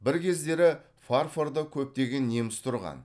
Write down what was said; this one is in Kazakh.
бір кездері фарфорда көптеген неміс тұрған